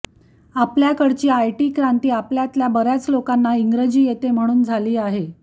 आपल्याकडची IT क्रांती आपल्यातल्या बर्याच लोकांना इंग्रजी येते म्हणून झाली आहे